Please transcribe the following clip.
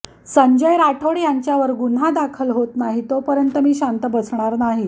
संजय राठोड यांच्यावर गुन्हा दाखल होत नाही तोपर्यंत मी शांत बसणार नाही